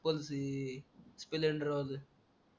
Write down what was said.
बोलकी स्प्लेंडर राहू दे